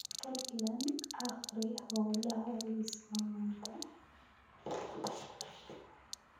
fadlan akhri hawlaha liiska maanta